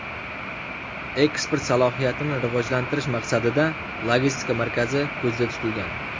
Eksport salohiyatini rivojlantirish maqsadida logistika markazi ko‘zda tutilgan.